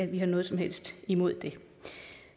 vi har noget som helst imod det